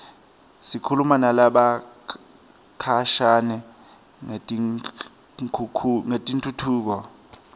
sikhuluma nalabakhashane ngetentfutfuko